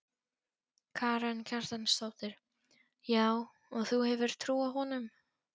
Karen Kjartansdóttir: Já og þú hefur trú á honum?